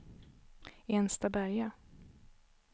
Enstaberga